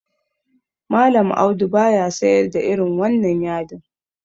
Mallam Audu baya sayar da irin wannan yadin.